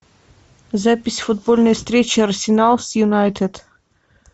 запись футбольной встречи арсенал с юнайтед